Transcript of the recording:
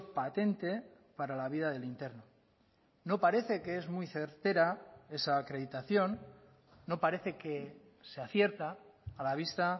patente para la vida del interno no parece que es muy certera esa acreditación no parece que se acierta a la vista